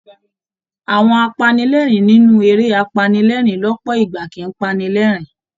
Àwọn apanilẹ́ẹ̀rín nínú eré apanilẹ́ẹ̀rín lọ́pọ̀ ìgbà kì í pani lẹ́rìn-ín